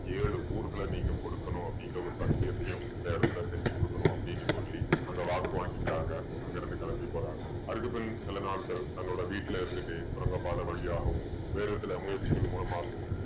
ஏழு ஊர்களை நீங்க கொடுக்கணும் அப்படிங்கிற ஒரு சத்தியத்தையும் இந்த இடத்துல செஞ்சு கொடுக்கணும் அப்படின்னு சொல்லி அங்க வாக்கு வாங்கிக்கிறாங்க அங்க இருந்து கிளம்பி போறாங்க அதுக்கு பின் சில நாட்கள் தன்னோட வீட்டுல இருந்துட்டு சுரங்கப்பாதை வழியாகவும் வேறு சில முயற்சிகள் மூலமாகவும்